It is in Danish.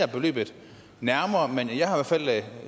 politisk aftale